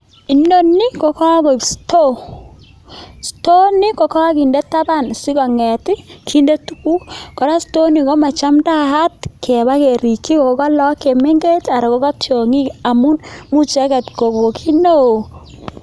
Inoni kogoik store. Store nii koginde taban sikong'et ii kinde tuguk, kora store ni komachamdaat keba kerigyi ngo ka lagok chemengech anan koga tyong'ik amun imuch icheget kogo kit neo!